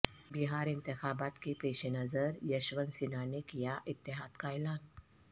بہار انتخابات کے پیش نظر یشونت سنہا نے کیا اتحاد کا اعلان